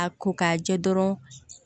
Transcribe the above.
A ko k'a jɛ dɔrɔn